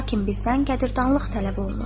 Lakin bizdən qədiradanlıq tələb olunur.